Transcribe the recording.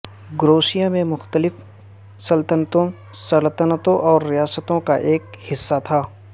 کروشیا میں مختلف سلطنتوں سلطنتوں اور ریاستوں کا ایک حصہ تھا